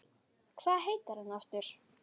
Hvað heitir hann aftur?